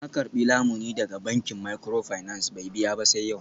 Ya karbi lamuni daga bankin microfinance bai biya ba sai yau.